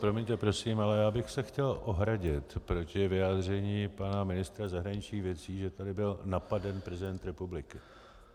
Promiňte, prosím, ale já bych se chtěl ohradit proti vyjádření pana ministra zahraničních věcí, že tady byl napaden prezident republiky.